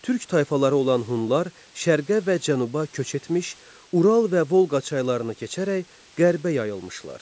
Türk tayfaları olan Hunlar şərqə və cənuba köç etmiş, Ural və Volqa çaylarını keçərək qərbə yayılmışlar.